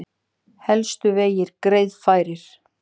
Helstu vegir greiðfærir